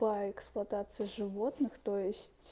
по эксплуатации животных то есть